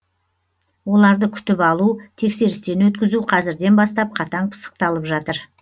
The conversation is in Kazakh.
оларды күтіп алу тексерістен өткізу қазірден бастап қатаң пысықталып жатыр